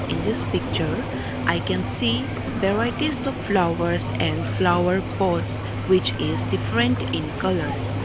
in this picture i can see varieties of flowers and flower pots which is different in colours.